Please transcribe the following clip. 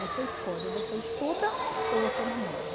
Você escolhe, ou você estuda ou você namora.